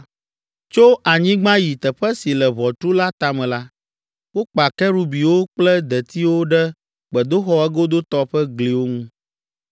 Tso anyigba yi teƒe si le ʋɔtru la tame la, wokpa kerubiwo kple detiwo ɖe gbedoxɔ egodotɔ ƒe gliwo ŋu.